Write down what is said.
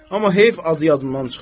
Amma heyf adı yadımdan çıxdı.